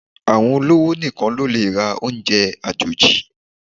Àwọn olówò nìkan lólè ra oúnjẹ àjòjì